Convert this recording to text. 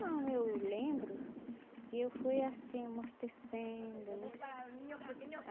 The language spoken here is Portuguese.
Não, eu lembro que eu fui assim amortecendo, né?